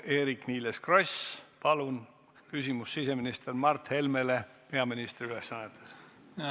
Eerik-Niiles Kross, palun küsimus siseminister Mart Helmele peaministri ülesannetes!